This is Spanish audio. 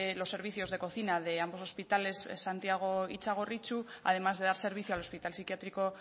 los servicios de cocina de ambos hospitales santiago y txagorritxu además de dar servicio al hospital psiquiátrico